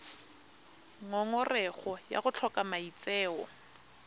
ngongorego ya go tlhoka maitseo